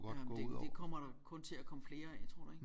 Jamen det det kommer der kun til at komme flere af tror du ikke